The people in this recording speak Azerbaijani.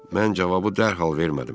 Mən cavabı dərhal vermədim.